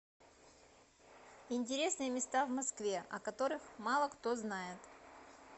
интересные места в москве о которых мало кто знает